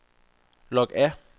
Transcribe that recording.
log af